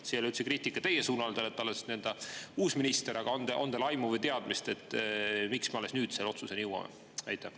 See ei ole üldse kriitika teie suunas, te olete alles uus minister, aga on teil aimu või teadmist, miks me alles nüüd selle otsuseni jõuame?